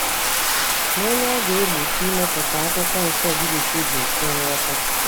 Ma ònye ga-egbochi imepụta Akwụkwọ Nsọ Griik dị mfe nghọta